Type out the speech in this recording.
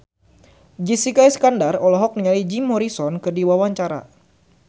Jessica Iskandar olohok ningali Jim Morrison keur diwawancara